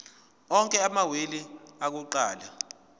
onke amawili akuqala